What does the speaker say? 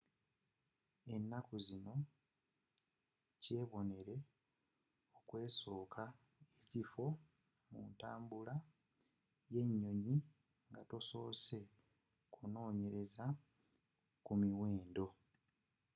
ennaku zino kyebonere okwesooka ekifo muntambula y'enyoyi nga tosoose kunnonyereza ku miwendo